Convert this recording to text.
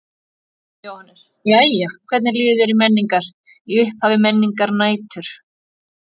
Jóhannes: Jæja hvernig líður þér á Menningar, í upphafi Menningarnætur?